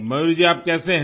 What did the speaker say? मयूर जी आप कैसे हैं